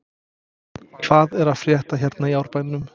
Hvað er að frétta hérna í Árbænum?